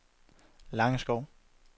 Langeskov